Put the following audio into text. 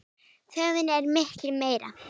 Þörfin er því mikil.